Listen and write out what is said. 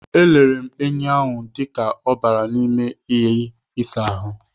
E lere enyi ahụ dịka ọ bara n'ime iyi ịsa ahụ.